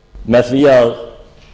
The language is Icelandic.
með því að